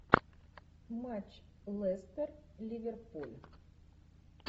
матч лестер ливерпуль